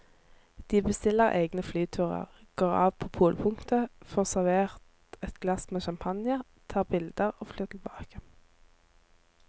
De bestiller egne flyturer, går av på polpunktet, får servert et glass med champagne, tar bilder og flyr tilbake.